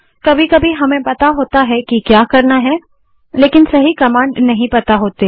कभी कभी हमें पता होता है जो हम करना चाहते हैं लेकिन सही कमांड नहीं पता होती